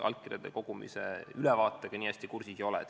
Allkirjade kogumise ülevaatega ma nii hästi kursis ei ole.